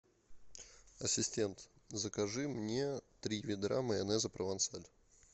ассистент закажи мне три ведра майонеза провансаль